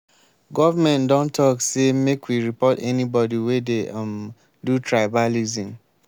government don talk sey make we report anybodi wey dey um do tribalism.